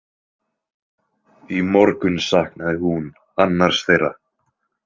Í morgun saknaði hún annars þeirra.